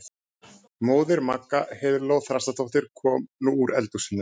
Móðir Magga, Heiðló Þrastardóttir, kom nú úr eldhúsinu.